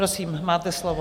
Prosím, máte slovo.